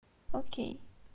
окей